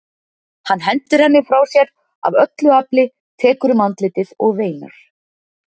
Hann hendir henni frá sér af öllu afli, tekur um andlitið og veinar.